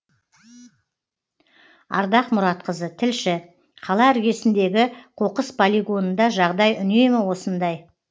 ардақ мұратқызы тілші қала іргесіндегі қоқыс полигонында жағдай үнемі осындай